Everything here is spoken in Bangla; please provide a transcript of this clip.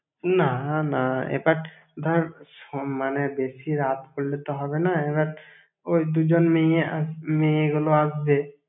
না না, এবার ধর শোন মানে বেশি রাত করলে তো হবে না এবার, ওই দুজন মেইয়ে আস~ মেয়েগুলো আসবে।